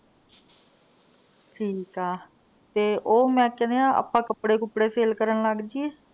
ਠੀਕ ਆ ਤੇ ਉਹ ਮੈਂ ਕਹਿੰਨੀ ਆ ਆਪਾਂ ਕੱਪੜੇ ਕੁਪੜੇ sale ਕਰਨ ਲੱਗ ਜਿਏ?